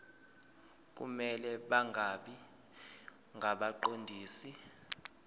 kumele bangabi ngabaqondisi